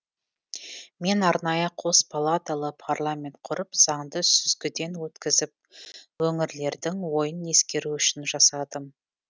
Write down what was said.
мен арнайы қос палаталы парламент құрып заңды сүзгіден өткізіп өңірлердің ойын ескеру үшін жасадым